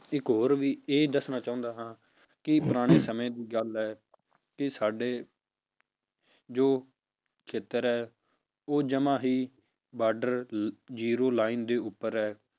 ਇੱਕ ਹੋਰ ਇਹੀ ਦੱਸਣਾ ਚਾਹੁੰਦਾ ਹਾਂ ਕਿ ਪੁਰਾਣੇ ਸਮੇਂ ਦੀ ਗੱਲ ਹੈ ਕਿ ਸਾਡੇ ਜੋ ਖੇਤਰ ਹੈ ਉਹ ਜਮਾਂ ਹੀ border zero line ਦੇ ਉੱਪਰ ਹੈ